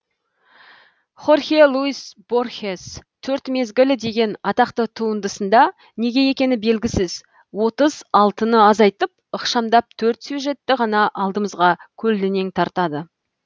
хорхе луис борхес төрт мезгіл деген атақты туындысында неге екені белгісіз отыз алтыны азайтып ықшамдап төрт сюжетті ғана алдымызға көлденең тартады